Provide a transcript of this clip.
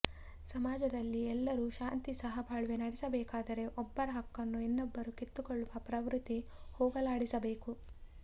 ಸಮಾಜದಲ್ಲಿ ಎಲ್ಲರೂ ಶಾಂತಿ ಸಹಬಾಳ್ವೆ ನಡೆಸಬೇಕಾದರೆ ಒಬ್ಬರ ಹಕ್ಕನ್ನು ಇನ್ನೊಬ್ಬರು ಕಿತ್ತುಕೊಳ್ಳುವ ಪ್ರವೃತ್ತಿ ಹೋಗಲಾಡಿಸಬೇಕು